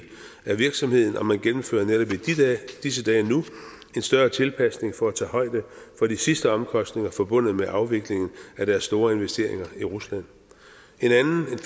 af virksomheden og man gennemfører netop i disse dage nu en større tilpasning for at tage højde for de sidste omkostninger forbundet med afviklingen af deres store investeringer i rusland